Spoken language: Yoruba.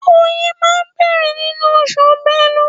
Ọyẹ́ máa bẹ̀rẹ̀ nínú oṣù Bélú.